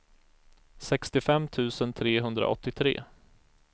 sextiofem tusen trehundraåttiotre